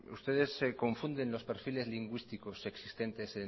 ustedes se confunden los perfiles lingüísticos existentes